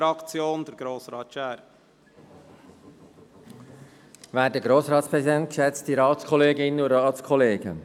Wir sind froh, dass die SiK diesen Vorstoss einreichen will.